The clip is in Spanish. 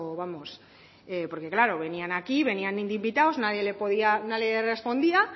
vamos porque claro venían aquí venían de invitados nadie le podía nadie le respondía